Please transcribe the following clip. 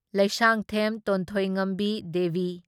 Leishangthem Tonthoingambi Devi